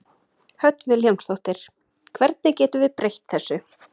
Hödd Vilhjálmsdóttir: Hvernig getum við breytt þessu?